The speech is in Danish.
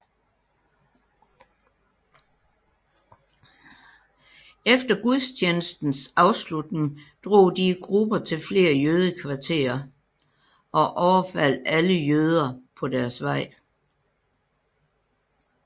Efter gudstjenestens afslutning drog de i grupper til flere jødekvarterer og overfaldt alle jøder på deres vej